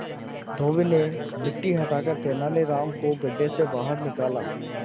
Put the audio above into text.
धोबी ने मिट्टी हटाकर तेनालीराम को गड्ढे से बाहर निकाला